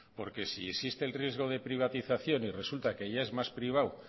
porque si existe el riesgo de privatización y resulta que ya es más privado